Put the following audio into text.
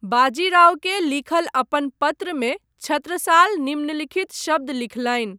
बाजी रावकेँ लिखल अपन पत्रमे छत्रसाल निम्नलिखित शब्द लिखलनि।